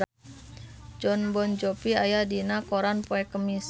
Jon Bon Jovi aya dina koran poe Kemis